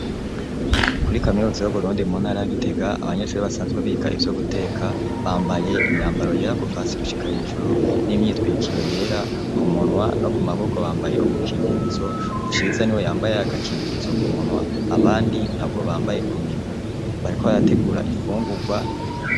Kuri kaminuza y'Uburundi mu ntara ya Gitega, abanyeshure basanzwe biga ivyo guteka, bambaye imyambaro yera kuva hasi gushika hejuru; n’imyitwikiro yera; ku munwa no ku maboko bambaye ubukingirizo, Ciza ni we yambaye agakingirizo ku munwa, abandi ntabwo bambaye ku minwa, bariko barategura imfungurwa,